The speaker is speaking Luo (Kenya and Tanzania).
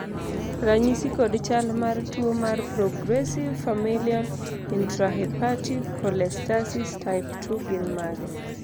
ranyisi kod chal mar tuo mar Progressive familial intrahepatic cholestasis type 2 gin mage?